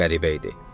Çox qəribə idi.